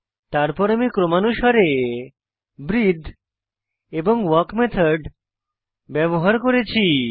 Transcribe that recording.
তারপর আমি ক্রমানুসারে ব্রিথে এবং ওয়াক মেথড ব্যবহার করেছি